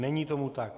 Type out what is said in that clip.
Není tomu tak.